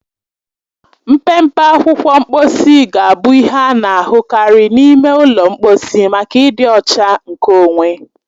Mpempe akwụkwọ mkposi ga-abụ ihe a na-ahụ karị n'ime ụlọ mkposi maka ịdị ọcha nkeonwe.